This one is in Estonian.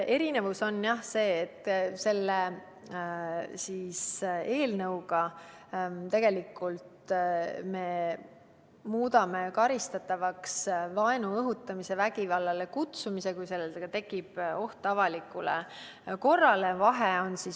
Erinevus on see, et selle eelnõuga me muudame karistatavaks vaenu õhutamise ja vägivallale kutsumise, kui sellega tekib oht avalikule korrale.